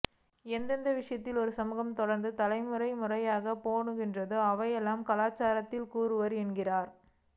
எந்தெந்த விஷயங்களை ஒருசமூகம் தொடர்ந்து தலைமுறைமுறையாகப் பேணுகின்றதோ அவையெல்லாம் கலாச்சாரத்தின் கூறுகளே என்கின்றார்